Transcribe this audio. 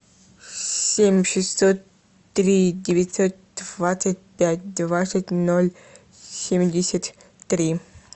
семь шестьсот три девятьсот двадцать пять двадцать ноль семьдесят три